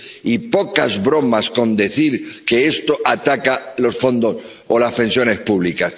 Y pocas bromas con decir que esto ataca los fondos o las pensiones públicas.